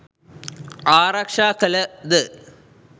ආරක්‍ෂා කළ ද